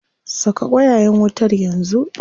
Saka ƙwayayen wutar yanzu.